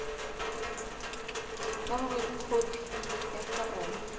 ba hore khopi ya foromo